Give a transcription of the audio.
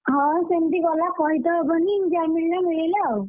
ହଁ ସେମିତି ଗଲା କହିତ ହବନି ଯାହା ମିଳିଲା ମିଳିଲା ଆଉ,